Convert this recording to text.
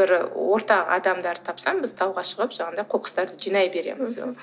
бір орта адамдарды тапсам біз тауға шығып жаңағындай қоқыстарды жинай береміз мхм